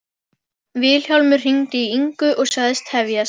Vilhjálmur hringdi í Ingu og sagðist tefjast.